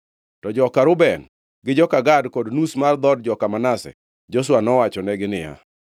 To joka Reuben, gi joka Gad kod nus mar dhood joka Manase, Joshua nowachonegi niya,